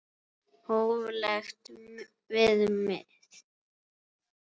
Hóflegt viðmið?